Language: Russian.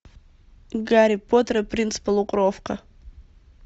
гарри поттер и принц полукровка